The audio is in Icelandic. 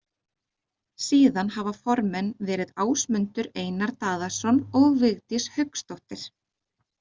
Síðan hafa formenn verið Ásmundur Einar Daðason og Vigdís Hauksdóttir.